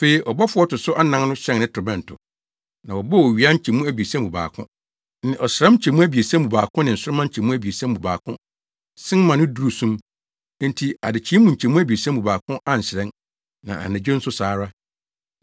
Afei ɔbɔfo a ɔto so anan no hyɛn ne torobɛnto. Na wɔbɔɔ owia nkyɛmu abiɛsa mu baako, ne ɔsram nkyɛmu abiɛsa mu baako ne nsoromma nkyɛmu abiɛsa mu baako sen ma no duruu sum, enti adekyee mu nkyɛmu abiɛsa mu baako anhyerɛn, na anadwo nso saa ara.